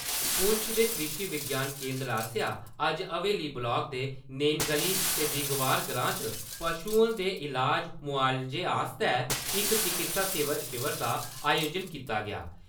पुंछ दे कृषि विज्ञान केन्द्र आसेआ अज्ज हवेली ब्लाक दे नेनगली ते दिगवार ग्रांऽ च पशुएं दे इलाज–मुआलजे आस्तै इक चिकित्सा शिविर दा आयोजन कीता गेआ।